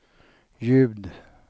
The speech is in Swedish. ljud